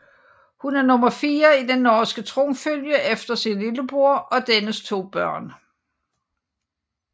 Hun er nummer fire i den norske tronfølge efter sin lillebror og dennes to børn